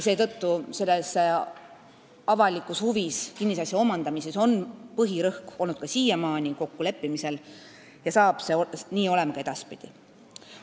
Seetõttu on kinnisasja avalikes huvides omandamisel siiamaani põhirõhk olnud kokkuleppimisel ja nii saab see olema ka edaspidi.